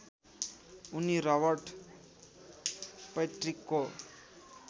उनी रबर्ट पैट्रिकको